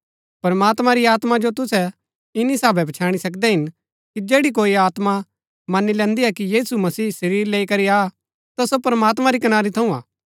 प्रमात्मां री आत्मा जो तुसै इन्‍नी साहबै पछैणी सकदै हिन कि जैड़ी कोई आत्मा मन्‍नी लैन्दी हा कि यीशु मसीह शरीर लैई करी आ ता सो प्रमात्मां री कनारी थऊँ हा